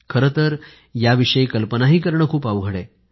खरंतर याविषयी कल्पनाही करणं खूप अवघड आहे